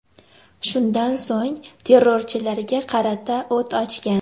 Shundan so‘ng, terrorchilarga qarata o‘t ochgan.